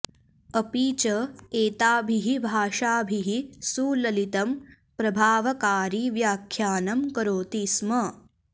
अपि च एताभिः भाषाभिः सुललितं प्रभावकारि व्याख्यानं करोति स्म